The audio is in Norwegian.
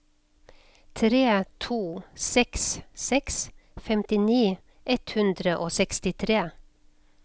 tre to seks seks femtini ett hundre og sekstitre